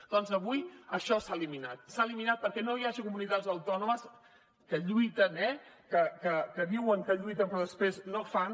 doncs avui això s’ha eliminat s’ha eliminat perquè no hi hagi comunitats autònomes que lluiten eh que diuen que lluiten però després no fan